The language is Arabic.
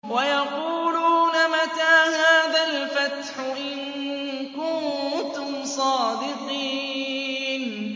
وَيَقُولُونَ مَتَىٰ هَٰذَا الْفَتْحُ إِن كُنتُمْ صَادِقِينَ